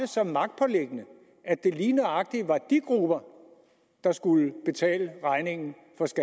så magtpåliggende at det lige nøjagtig var de grupper der skulle betale regningen